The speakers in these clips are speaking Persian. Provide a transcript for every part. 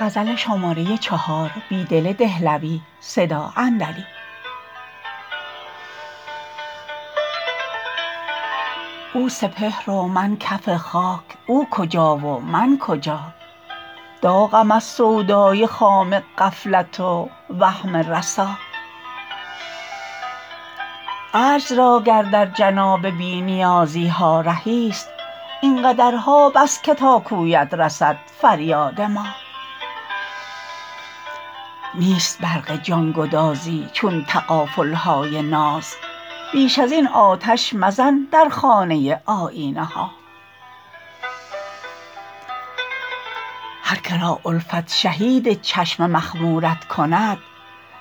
او سپهر و من کف خاک اوکجا و من کجا داغم از سودای خام غفلت و وهم رسا عجز راگر در جناب بی نیازیها رهی ست اینقدرها بس که تاکویت رسد فریاد ما نیست برق جانگدازی چون تغافلهای ناز بیش از این آتش مزن در خانه آیینه ها هرکه را الفت شهید چشم مخمورت کند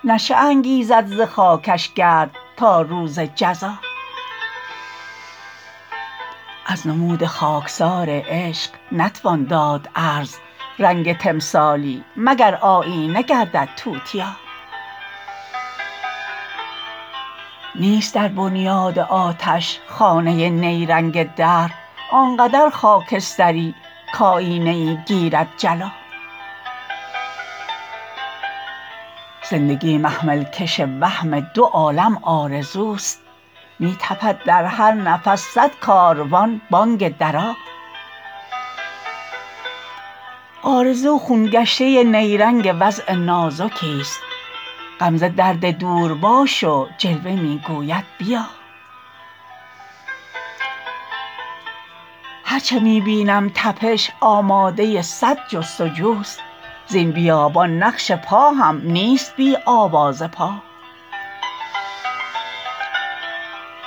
نشیه انگیزد زخاکش گرد تا روز جزا از نمود خاکسار عشق نتوان داد عرض رنگ تمثالی مگر آیینه گردد توتیا نیست در بنیاد آتش خانه نیرنگ دهر آنقدر خاکستری کایینه ی گیرد جلا زندگی محمل کش وهم دوعالم آرزوست می تپد در هر نفس صدکاروان بانگ درا آرزو خون گشته نیرنگ وضع نازکیست غمزه درد دور باش و جلوه می گوید بیا هرچه می بینم تپش آماده صد جستجوست زین بیابان نقش پا هم نیست بی آوازپا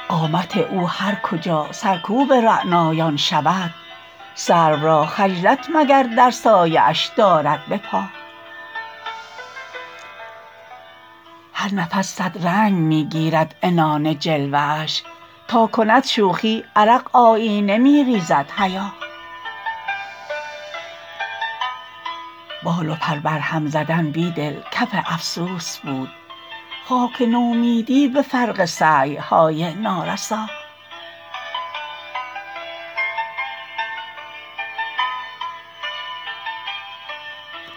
قامت او هرکجا سرکوب رعنایان شود سرو راخجلت مگر درسایه اش داردبه پا هرنفس صد رنگ می گیرد عنان جلوه اش تاکند شوخی عرق آیینه می ریزد حیا بال وپر برهم زدن بیدل کف افسوس بود خاک نومیدی به فرق سعی های نارسا